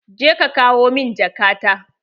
Je ka kawo min jaka ta!